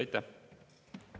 Aitäh!